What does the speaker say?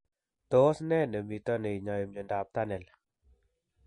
Tos ne nemito neinyoi miondop Tunnel